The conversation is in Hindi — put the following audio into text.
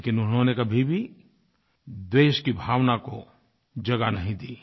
लेकिन उन्होंने कभी भी द्वेष की भावना को जगह नहीं दी